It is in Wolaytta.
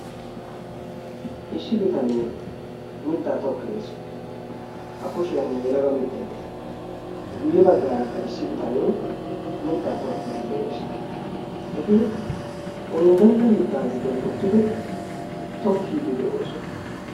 issi bitanee mittaa tokkeees a kushiyan yelaga mittei de7es guyye baggaarakka issi bitanee mittaa tokkiiddi de7ees eti unddenna mittaa giddon uttidi tokkiiddi de7oosona